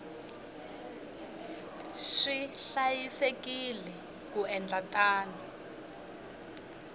swi hlayisekile ku endla tano